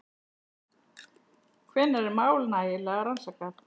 Hvenær er mál nægilega rannsakað?